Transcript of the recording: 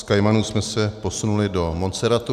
Z Kajmanů jsme se posunuli do Montserratu.